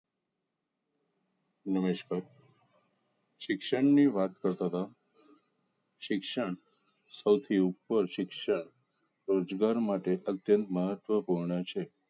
નમસ્કાર શિક્ષણની વાત પર તથા શિક્ષણ સૌથી ઉપર શિક્ષણ રોજગાર માટે અત્યંત મહત્વનું છે